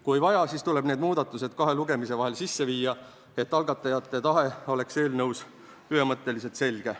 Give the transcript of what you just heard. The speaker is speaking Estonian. Kui vaja, siis tuleb need muudatused kahe lugemise vahel sisse viia, et algatajate tahe oleks eelnõus ühemõtteliselt selge.